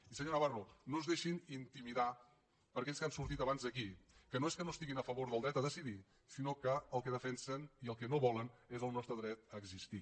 i senyor navarro no es deixin intimidar per aquells que han sortit abans aquí que no és que no estiguin a favor del dret a decidir sinó que el que defensen i el que no volen és el nostre dret a existir